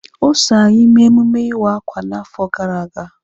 O so anyị mee emume iwa akwa n'afọ gara aga.